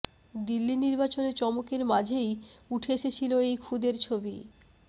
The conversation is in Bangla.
দিল্লি নির্বাচনে চমকের মাঝেই উঠে এসেছিল এই খুদের ছবি